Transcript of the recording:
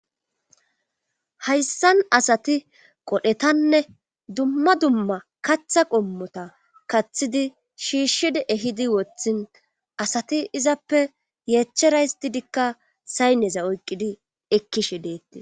Hayssan asati qodhdhetanne dumma dumma kaththa qommota kaththidi shiishshid ehidi woththin asati izappe yeechchera histidikka sayneza oyqqidi ekkishshe deettees